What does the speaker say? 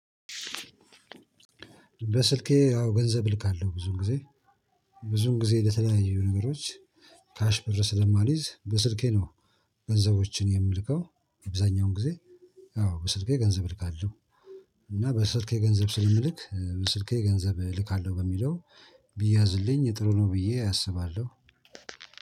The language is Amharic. በስልኬ ያው ገንዘብ እልካለሁ ብዙም ጊዜ ብዙም ጊዜ ለተለያዩ ነገሮች ካሽ ብር ስለማልይዝ በስልኬ ነው። ገንዘቦችን የምልከው አብዛኛውን ጊዜ። አዎ በስልኬ ገንዘብ እልካለሁ። እና በስልኬ ገንዘብ ስለምልክ በስልኬ ገንዘብ እልካለሁ በሚለው ብዬአዝልኝ ጥሩ ነው ብዬ አስባለሁ።